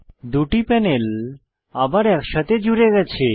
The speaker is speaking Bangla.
দুটি প্যানেল আবার একসাথে জুড়ে গেছে